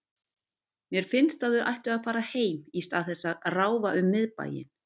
Mér finnst að þau ættu að fara heim í stað þess að ráfa um miðbæinn.